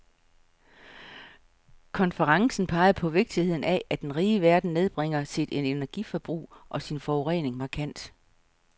Konferencen pegede på vigtigheden af, at den rige verden nedbringer sit energiforbrug og sin forurening markant.